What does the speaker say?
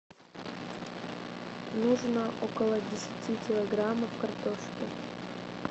нужно около десяти килограммов картошки